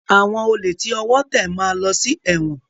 Àwọn olè tí ọwọ́ tẹ̀ máa lọ sí ẹ̀wọ̀n.